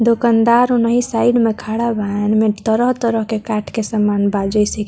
दोकानदार ओनहि साइड में खड़ा बा एनमे तरह-तरह के काठ के सामान बा जेसे की --